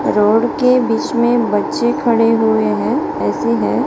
Road के बीच में बच्चे खड़े हुए हैं ए_सी है।